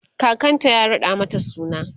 kakanta ya raɗa mata suna